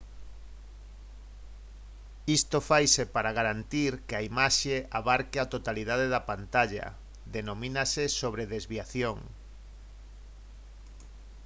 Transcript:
isto faise para garantir que a imaxe abarque a totalidade da pantalla denomínase sobredesviación